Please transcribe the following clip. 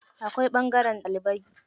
Akwai ɓangaren ɗalibai.